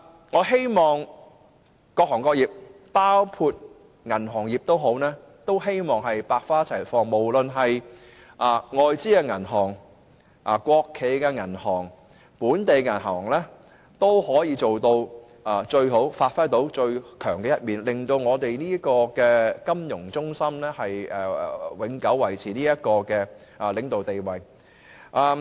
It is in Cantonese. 我希望各行各業能夠百花齊放，無論是外資銀行、國企銀行、本地銀行也可以做到最好，發揮最強的一面，令香港這個國際金融中心永久維持領導地位。